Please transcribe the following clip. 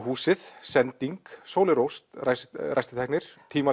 húsið sending Sóley Rós ræstitæknir